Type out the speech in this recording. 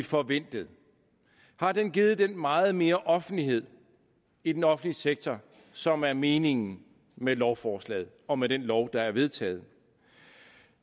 forventet har den givet den meget mere offentlighed i den offentlige sektor som er meningen med lovforslaget og med den lov der er vedtaget